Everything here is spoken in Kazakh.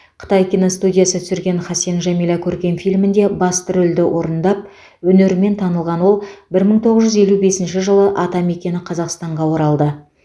қытай киностудиясы түсірген хасен жәмила көркем фильмінде басты рөлді орындап өнерімен танылған ол бір мың тоғыз жүз елу бесінші жылы атамекені қазақстанға оралды